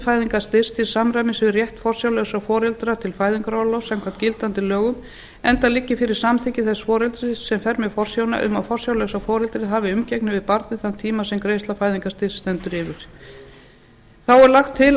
fæðingarstyrks til samræmis við rétt forsjárlausra foreldra til fæðingarorlofs samkvæmt gildandi lögum enda liggi fyrir samþykki þess foreldris sem fer með forsjána um að forsjárlausa foreldrið hafi umgengni við barnið þann tíma sem greiðsla fæðingarstyrks stendur yfir þá er lagt til